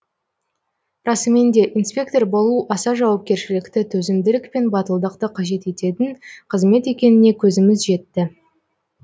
расымен де инспектор болу аса жауапкершілікті төзімділік пен батылдықты қажет ететін қызмет екеніне көзіміз жетті